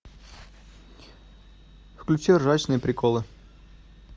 включи ржачные приколы